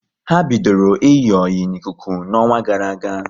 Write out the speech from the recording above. Ha bidoro iyi oyi n'ikuku n'ọnwa gara aga